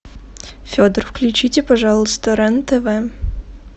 федор включите пожалуйста рен тв